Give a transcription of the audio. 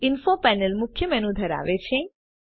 info panel મુખ્ય menu ધરાવે છે